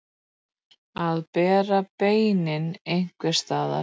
Að bera beinin einhvers staðar